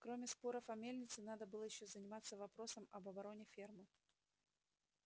кроме споров о мельнице надо было ещё заниматься вопросом об обороне фермы